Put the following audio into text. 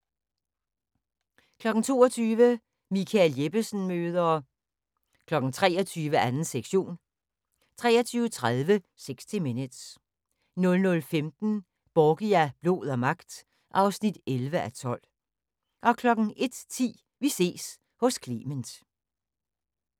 22:00: Michael Jeppesen møder ... 23:00: 2. sektion 23:30: 60 Minutes 00:15: Borgia – blod og magt (11:12) 01:10: Vi ses hos Clement